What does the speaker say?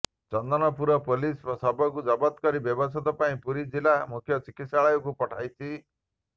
Chandanarpur police ଶବକୁ ଜବତ କରି ବ୍ୟବଚ୍ଛେଦ ପାଇଁ ପୁରୀ ଜିଲା ମୁଖ୍ୟ ଚିକିତ୍ସାଳୟକୁ ପଠାଇଛି